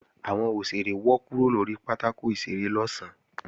Àwọn òṣèré wọ́ kúrò lórí pátákò ìṣeré lọ̀sán